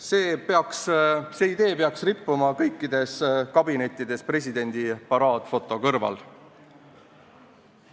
See idee peaks rippuma kõikides kabinettides presidendi paraadfoto kõrval.